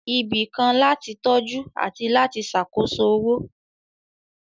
Ibì kan láti tọ́jú àti láti ṣàkóso owó